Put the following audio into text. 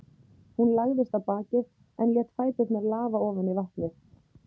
Hún lagðist á bakið en lét fæturna lafa ofan í vatnið.